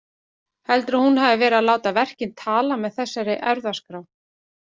Heldurðu að hún hafi verið að láta verkin tala með þessari erfðaskrá?